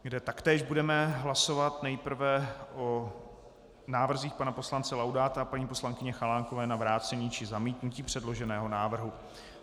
Zde taktéž budeme hlasovat nejprve o návrzích pana poslance Laudáta a paní poslankyně Chalánkové na vrácení či zamítnutí předloženého návrhu.